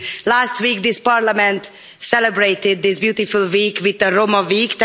Last week, this Parliament celebrated this beautiful week with Roma week.